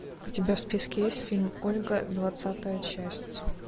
у тебя в списке есть фильм ольга двадцатая часть